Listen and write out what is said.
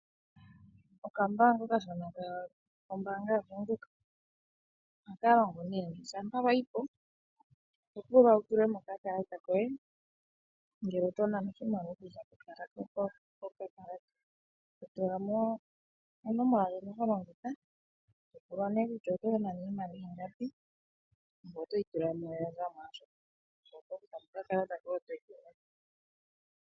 Okambaanga okashona kombaanga yaVenduka. Ohaka longo nee shampa wa yi po , oho pulwa wu tule mo okakalata koye ngele oto nana oshimaliwa oku za kokakalata , to tula mo onomola ndjono ho longitha, to pulwa nee kutya oto nana iimaliwa ingapi, ngoye otoyi tula mo ,yo oya zamo ngoye oto kuthamo okakalata koye.